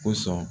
Ko sɔn